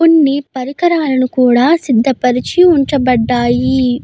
కొన్ని పరికరాలు కూడా సిద్ద పరిచి ఉంచబడ్డాయి.